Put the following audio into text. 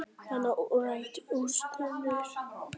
Nanna Rut Jónsdóttir